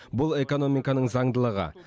бұл экономиканың заңдылығы